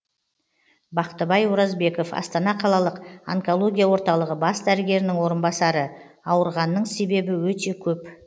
бақтыбай оразбеков астана қалалық онкология орталығы бас дәрігерінің орынбасары ауырғанның себебі өте көп